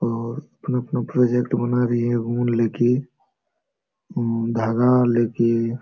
और अपना अपना प्रोजेक्ट बना रही है ऊन लेके अअम धागा लेके।